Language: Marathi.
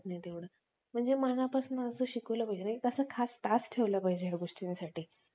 मनापासून शिकवलं पाहिजे म्हणजे खास Task ठेवले पाहिजेत या गोष्टींसाठी